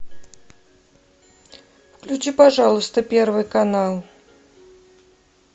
включи пожалуйста первый канал